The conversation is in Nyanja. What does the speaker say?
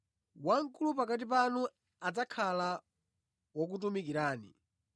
Wamkulu pakati panu adzakhala wokutumikirani.